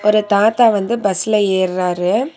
இந்த தாத்தா வந்து பஸ்ல ஏர்றாரு.